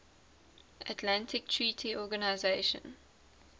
atlantic treaty organisation